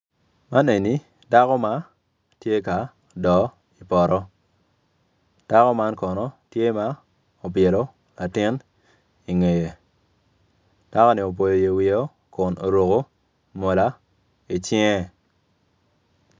Man eni dako ma tye ka do i poto dako man kono tye ma obyelo latin ingeye dakoni boyo yec wiye o kun oruko mola icinge.